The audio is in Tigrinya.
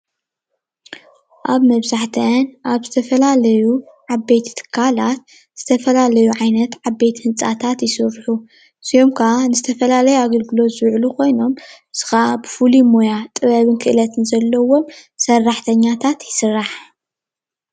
ኣብ መብዛሕትአን ኣብ ዝተፈላልዩ ዓበይቲ ትካላት ዝተፈላለዩ ዓይነት ዓበይቲ ህንፃታት ይስርሑ እዚኦም ከዓ ንዝተፈላለዩ ኣገልግሎት ዝዉዕሉ ኮይኖም እዚ ከዓ ብፍሉይ ሞያ ጥበብን ክእለትን ዘለዎም ሰራሕተኛታት ይስራሕ ።